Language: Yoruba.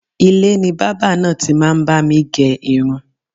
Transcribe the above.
Ilé ni bábà náà ti máa ń bá mi gẹ irun